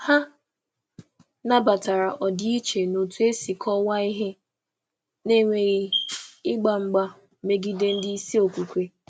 um Hà nabatara ọdịiche n’otú e si kọwaa ihe, na-enweghị ihe, na-enweghị ịgba mgba megide ndị isi okwukwe.